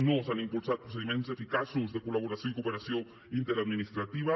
no s’han impulsat procediments eficaços de col·laboració i cooperació interadministrativa